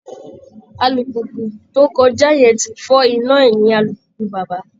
Alùpùpù tó kọjá yẹn ti fọ́ iná ẹ̀yìn alùpùpù bàbá